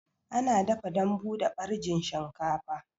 Ana dafa dambu da ɓarjin shinkafa